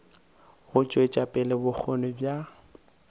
go tšwetša pele bokgoni bja